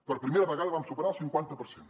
per primera vegada vam superar el cinquanta per cent